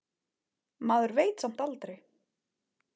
Maður veit samt aldrei.